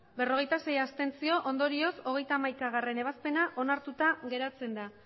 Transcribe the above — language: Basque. berrogeita sei ondorioz hogeita hamaikagarrena ebazpena onartuta geratzen da